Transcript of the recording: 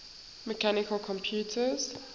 mechanical computers